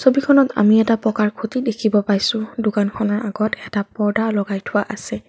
ছবিখনত আমি এটা পকাৰ খুঁটি দেখিব পাইছোঁ দোকানখনৰ আগত এটা পৰ্দা লগাই থোৱা আছে।